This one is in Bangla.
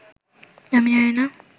আমি জানিনা